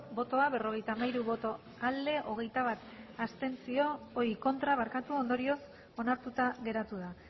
berrogeita hamairu bai hogeita bat ez ondorioz onartuta geratu da